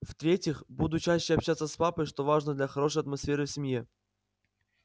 в-третьих буду чаще общаться с папой что важно для хорошей атмосфере в семье